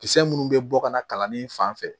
Kisɛ munnu bɛ bɔ ka na kalanin fan fɛ